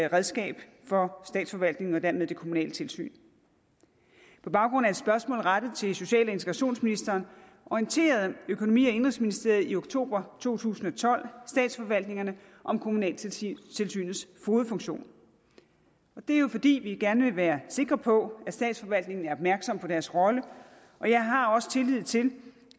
redskab for statsforvaltningen og dermed det kommunale tilsyn på baggrund af et spørgsmål rettet til social og integrationsministeren orienterede økonomi og indenrigsministeriet i oktober to tusind og tolv statsforvaltningerne om kommunaltilsynets fogedfunktion det er jo fordi vi gerne vil være sikre på at statsforvaltningen er opmærksom på deres rolle og jeg har også tillid til